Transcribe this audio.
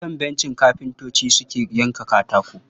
A kan bencin kafintocin suke yanka katako.